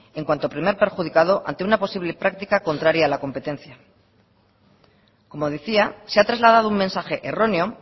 en cuanto primer perjudicado ante una posible práctica contraria a la competencia como decía se ha trasladado un mensaje erróneo